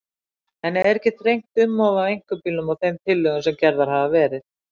En er ekki þrengt um of að einkabílnum í þeim tillögum sem gerðar hafa verið?